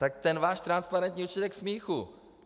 Tak ten váš transparentní účet je k smíchu!